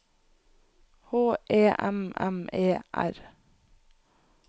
H E M M E R